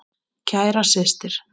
Kæra systir.